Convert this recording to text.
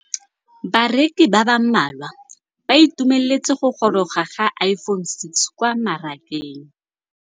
Bareki ba ba malwa ba ituemeletse go gôrôga ga Iphone6 kwa mmarakeng.